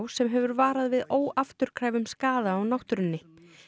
sem hefur varað við óafturkræfum skaða á náttúrunni